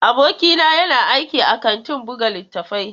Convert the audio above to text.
Abokina yana aiki a kantin buga littattafai.